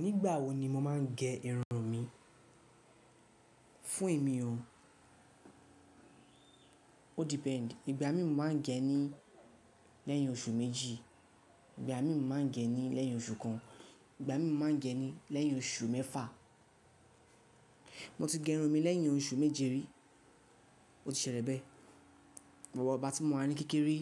Nígbà wo ni mo máa ń gẹ irun mi? Fún èmi o, o depend. Ìgbà mi mo máa ń gẹ ní lẹ́yìn oṣù méjì, ìgbà mi mo máa ń gẹ ní lẹ́yìn oṣù kan, ìgbà mi mo máa ń gẹ ní lẹ́yìn oṣù mẹ́fà. Mo ti gẹ irun mi lẹ́yìn oṣù méje rí, ó ti ṣẹlẹ̀ bẹ́ẹ̀. Ìwọ̀ igba tí mo wà ní kékeré,